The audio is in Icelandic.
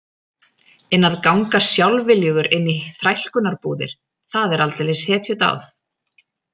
En að ganga sjálfviljugur inn í þrælkunarbúðir, það er aldeilis hetjudáð